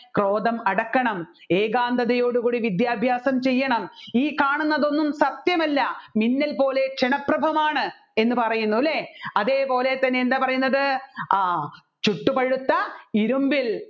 ക്രോധം അടക്കണം ഏകാന്തതയോടു കൂടി വിദ്യാഭ്യാസം ചെയ്യണം ഈ കാണുന്നതൊന്നും സത്യമല്ല മിന്നൽ പോലെ ക്ഷണപ്രഭഭമാണ് എന്ന് പറയുന്നു അല്ലെ അതേപോലെ തന്നെ എന്താ പറയുന്നത് ആ ചുട്ടുപഴുത്ത ഇരുമ്പിൽ